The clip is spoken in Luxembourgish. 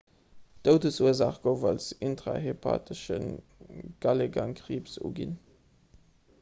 d'doudesursaach gouf als intrahepatesche galegangkriibs uginn